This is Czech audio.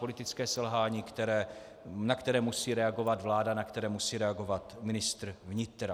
Politické selhání, na které musí reagovat vláda, na které musí reagovat ministr vnitra.